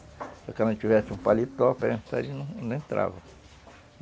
Se paletó não entrava